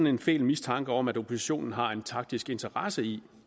en fæl mistanke om at oppositionen har en taktisk interesse i